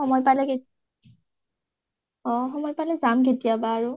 সময় পালে কেতিয়া, অ সময় পালে কেতিয়াবা আৰু